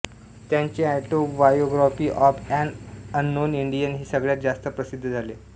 त्यांचे autobiography of an unknown Indian हे सगळ्यात जास्त प्रसिद्ध झाले